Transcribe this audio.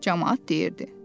Camaat deyirdi.